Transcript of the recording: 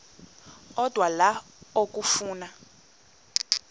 odwa la okafuna